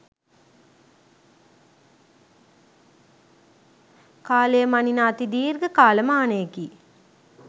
කාලය මනින අති දීර්ඝ කාලමානයකි.